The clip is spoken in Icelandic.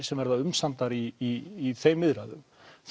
sem verða umsamdar í þeim viðræðum